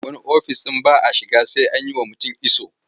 Wani ofis ɗin ba a iya shiga kai tsaye sai an yi wa mutum iso.